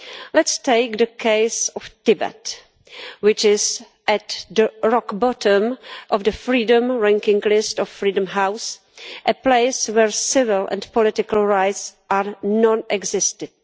Let us take the case of Tibet, which is at the rock-bottom of the freedom ranking list of Freedom House, a place where civil and political rights are non existent.